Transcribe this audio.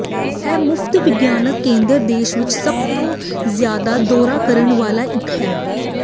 ਇਹ ਮੁਫ਼ਤ ਵਿਗਿਆਨ ਕੇਂਦਰ ਦੇਸ਼ ਵਿੱਚ ਸਭ ਤੋਂ ਜ਼ਿਆਦਾ ਦੌਰਾ ਕਰਨ ਵਾਲਾ ਇੱਕ ਹੈ